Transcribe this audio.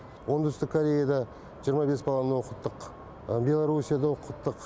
оңтүстік кореяда жиырма бес баланы оқыттық беларусияда оқыттық